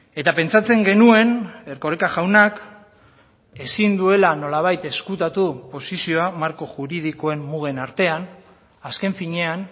eta pentsatzen genuen erkoreka jaunak ezin duela nolabait ezkutatu posizioa marko juridikoen mugen artean azken finean